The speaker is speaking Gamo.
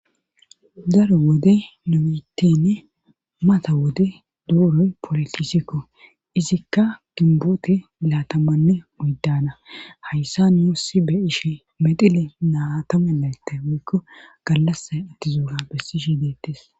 Daro wode nomitenne mata wode dooroy polotisikko izikka gimboote milaatamanne moydana hayssa yossi be ishe medile naatame laytte woykko gallasa attizoura bessi ishe deettes